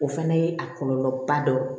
O fana ye a kɔlɔlɔba dɔ ye